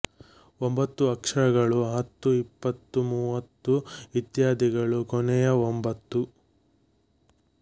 ಒಂಬತ್ತು ಅಕ್ಷರಗಳು ಹತ್ತು ಇಪ್ಪತ್ತು ಮೂವತ್ತು ಇತ್ಯಾದಿಗಳನ್ನು ಕೊನೆಯ ಒಂಬತ್ತು